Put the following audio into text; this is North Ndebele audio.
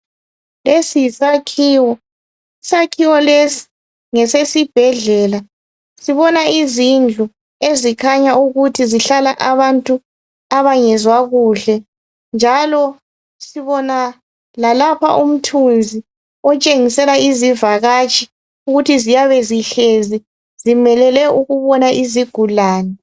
Lesi yisakhiwo, isakhiwo lesi ngesesibhedlela. Sibona izindlu ezikhanya ukuthi zihlala abantu abangezwa kuhle. Njalo sibona lalapha umthunzi otshengisela izivakatshi ukuthi ziyabe zihlezi zimelele ukubona izigulane.